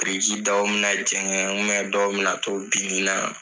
Biriki dɔw mi na jɛnkɛ dɔw mi na to binni na